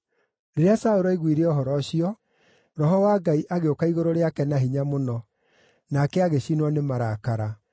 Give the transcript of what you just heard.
Rĩrĩa Saũlũ aiguire ũhoro ũcio, Roho wa Ngai agĩũka igũrũ rĩake na hinya mũno, nake agĩcinwo nĩ marakara.